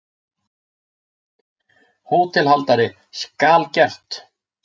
HÓTELHALDARI: Skal gert!